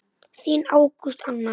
Þín Ágústa Anna.